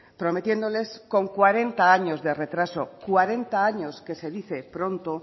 prometiéndoles con cuarenta años de retraso cuarenta años que se dicen pronto